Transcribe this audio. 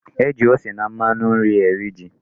E ji ose na mmanu nri eri ji.